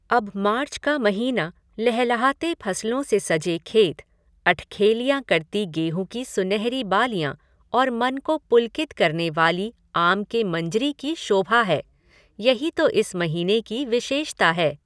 अब मार्च का महीना लहलहाते फसलों से सजे खेत, अठखेलियाँ करती गेहूँ की सुनहरी बालियाँ और मन को पुलकित करने वाली आम के मंजरी की शोभा है, यही तो इस महीने की विशेषता है।